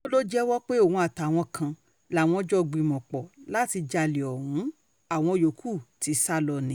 um wọ́n lọ jẹ́wọ́ pé òun àtàwọn um kan làwọn jọ gbìmọ̀-pọ̀ láti jalè ọ̀hún o láwọn yòókù ti sá lọ ni